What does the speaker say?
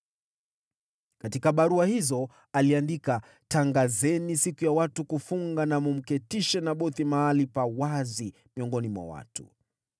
Katika barua hizo aliandika: “Tangazeni siku ya watu kufunga na mkamketishe Nabothi mahali pa wazi miongoni mwa watu.